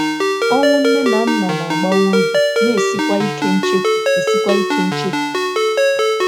Ọnwụ nne na nna na - agbawa obi, na - esikwa ike nchefu esikwa ike nchefu.